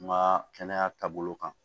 N ka kɛnɛya taabolo kan